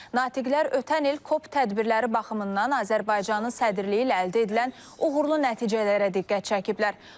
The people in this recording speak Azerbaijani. Natiqlər ötən il COP tədbirləri baxımından Azərbaycanın sədrliyi ilə əldə edilən uğurlu nəticələrə diqqət çəkiblər.